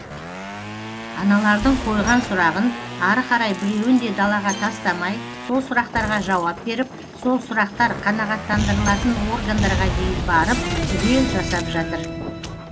аналардың қойған сұрағын ары қарай біреуін де далаға тастамай сол сұрақтарға жауап беріп сол сұрақтар қанағаттандырылатын органдарға дейін барып түгел жасап жатыр